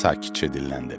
Sakitcə dilləndim.